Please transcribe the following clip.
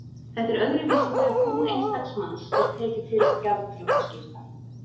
Þetta er öðruvísi þegar bú einstaks manns er tekið til gjaldþrotaskipta.